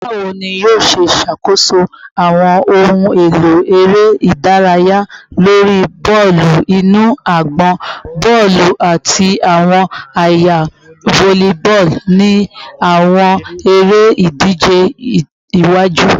Bawo ni yoo ṣe ṣakoso awọn ohun elo ere idaraya lori bọọlu inu agbọn, bọọlu, ati awọn aaye volleyball ni awọn ere-idije iwaju?